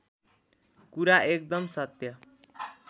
कुरा एकदम सत्य